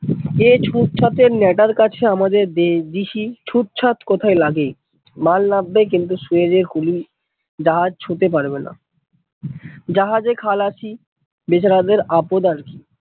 এই ছুট ছোটের ম্যাডার কাছে আমাদের DC ছুট ছোট কোথায় লাগে মাল নাববে কিন্তু সুয়েজ এ কুলি জাহাজ ছুঁতে পারবে না, জাহাজ এ খালাসি বেচারাদের আপত আর কি!